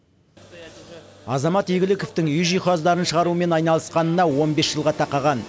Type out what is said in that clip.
азамат игіліковтің үй жиһаздарын шығарумен айналысқанына он бес жылға тақаған